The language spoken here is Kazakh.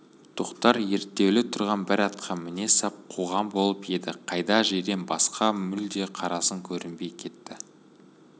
тоқтар ерттеулі тұрған бір атқа міне сап қуған болып еді қайда жирен қасқа мүлде қарасын көрсетпей кетті